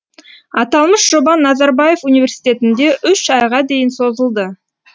аталмыш жоба назарбаев университетінде үш айға дейін созылды